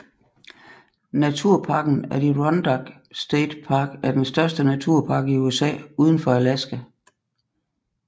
Naturparken Adirondack State Park er den største naturpark i USA udenfor Alaska